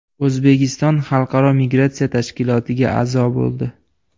O‘zbekiston Xalqaro migratsiya tashkilotiga a’zo bo‘ldi.